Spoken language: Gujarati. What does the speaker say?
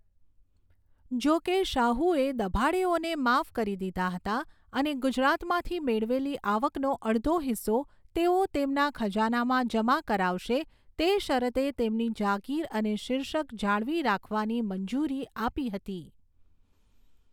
જોકે, શાહુએ દભાડેઓને માફ કરી દીધા હતા અને ગુજરાતમાંથી મેળવેલી આવકનો અડધો હિસ્સો તેઓ તેમના ખજાનામાં જમા કરાવશે તે શરતે તેમની જાગીર અને શિર્ષક જાળવી રાખવાની મંજૂરી આપી હતી.